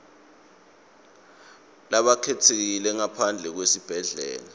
labakhetsekile ngaphandle kwesibhedlela